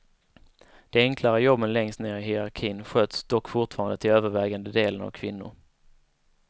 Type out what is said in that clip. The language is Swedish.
De enklare jobben längst ner i hierarkin sköts dock fortfarande till övervägande delen av kvinnor.